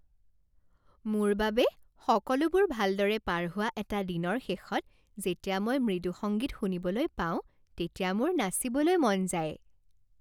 মোৰ বাবে সকলোবোৰ ভালদৰে পাৰ হোৱা এটা দিনৰ শেষত যেতিয়া মই মৃদু সংগীত শুনিবলৈ পাওঁ তেতিয়া মোৰ নাচিবলৈ মন যায়।